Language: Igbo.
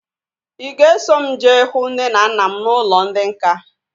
Ị ga-eso m jee hụ nne na nna m n'ụlọ ndị nká?